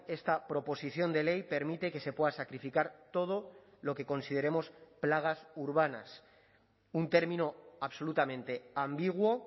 esta proposición de ley permite que se pueda sacrificar todo lo que consideremos plagas urbanas un término absolutamente ambiguo